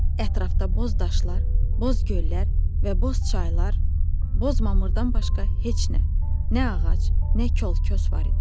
Ətrafda boz daşlar, boz göllər və boz çaylar, boz mamırdan başqa heç nə, nə ağac, nə kol kos var idi.